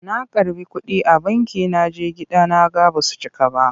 Na karɓi kuɗi a banki na je gida na ga ba su cika ba.